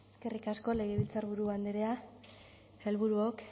eskerrik asko legebiltzarburu andrea sailburuok